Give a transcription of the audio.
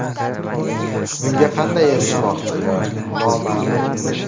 Bunga qanday erishmoqchi ular, noma’lum.